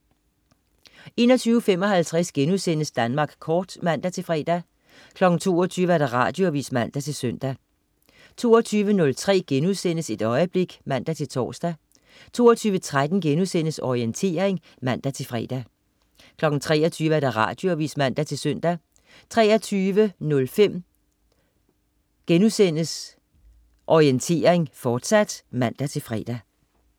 21.55 Danmark Kort* (man-fre) 22.00 Radioavis (man-søn) 22.03 Et øjeblik* (man-tors) 22.13 Orientering* (man-fre) 23.00 Radioavis (man-søn) 23.05 Orientering, fortsat* (man-fre)